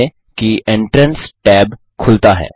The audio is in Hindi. ध्यान दें कि एंट्रेंस टैब खुलता है